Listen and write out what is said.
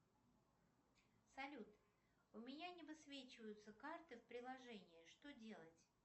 салют у меня не высвечиваются карты в приложении что делать